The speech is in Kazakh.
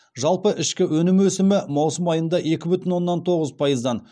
жалпы ішкі өнім өсімі маусым айында екі бүтін оннан тоғыз пайыздан